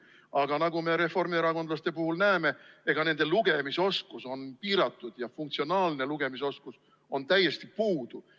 Aga nagu me reformierakondlaste puhul näeme, on nende lugemisoskus piiratud ja funktsionaalne lugemisoskus on täiesti puudu.